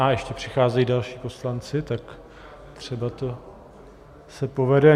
A ještě přicházejí další poslanci, tak třeba se to povede.